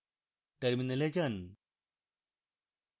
terminal যান